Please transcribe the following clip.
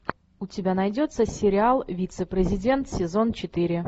у тебя найдется сериал вице президент сезон четыре